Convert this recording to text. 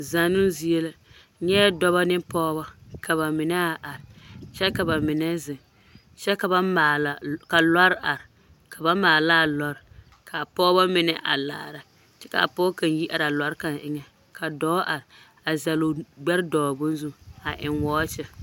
Zannoo zie la, n nyɛɛ dɔbɔ ne pɔgebɔ ka bamine a are kyɛ ka bamine zeŋ kyɛ ka ba maala, ka lɔre are ka maala a lɔre k'a pɔgeba mine a laara kyɛ k'a pɔge kaŋ yi are a lɔre kaŋ eŋɛ ka dɔɔ are a zɛle o gbɛre dɔgele bone zu a eŋ wɔɔkye.